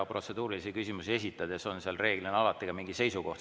Protseduurilisi küsimusi esitades reeglina ka mingi seisukoht.